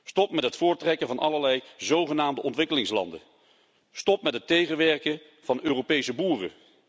Stop met het voortrekken van allerlei zogenaamde ontwikkelingslanden. Stop met het tegenwerken van Europese boeren.